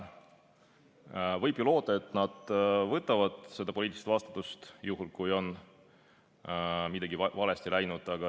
Võib ju loota, et nad võtavad poliitilise vastutuse enda kanda, juhul kui on midagi valesti läinud.